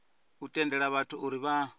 u tendela vhathu uri vha